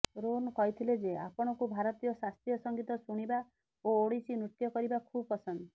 ରୋହନ କହିଥିଲେଯେ ଆପଣଙ୍କୁ ଭାରତୀୟ ଶାସ୍ତ୍ରୀୟ ସଂଗୀତ ଶୁଣିବା ଓ ଓଡିଶୀ ନୃତ୍ୟକରିବା ଖୁବ ପସନ୍ଦ